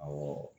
Awɔ